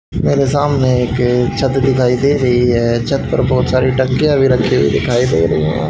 मेरे सामने एक छत दिखाई दे रही है छत पर बहुत सारी टंकियाँ भी रखी हुई दिखाई दे रही है।